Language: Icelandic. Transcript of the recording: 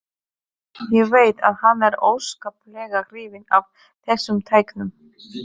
Ég veit að hann er óskaplega hrifinn af þessum tækjum.